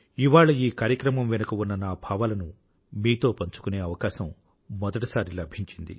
ఇవాళ ఈ కార్యక్రమం వెనుక ఉన్న నా భావాలను మీతో పంచుకునే అవకాశం మొదటిసారి లభించింది